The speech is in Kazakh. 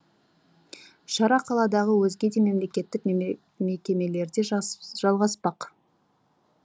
шара қаладағы өзге де мемлекеттік мекемелерде жалғаспақ